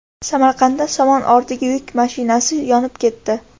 Samarqandda somon ortilga yuk mashinasi yonib ketdi.